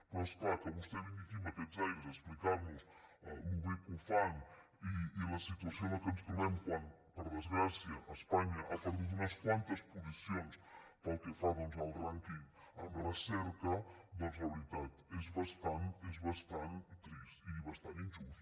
però és clar que vostè vingui aquí amb aquests aires a explicar nos com de bé ho fan i la situació en què ens trobem quan per desgràcia espanya ha perdut unes quantes posicions pel que fa doncs al rànquing en recerca la veritat és bastant trist i bastant injust